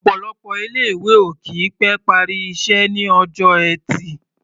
Ọ̀pọ̀lọpọ̀ ilé-ìwé ò kì í pẹ́ parí iṣẹ́ ní ọjọ́ Ẹtì.